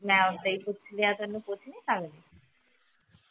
ਮੈ ਓਦਾਂ ਈ ਪੁੱਛਲੀਆ ਤੈਨੂੰ ਪੁੱਛ ਨਹੀਂ ਸਕਦੀ